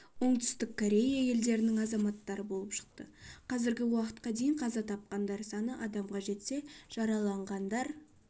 оңтүстік корея елдерінің азаматтары болып шықты қазіргі уақытқа дейін қаза тапқандар саны адамға жетсе жараланғандар